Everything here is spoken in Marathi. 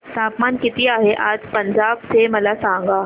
तापमान किती आहे आज पंजाब चे मला सांगा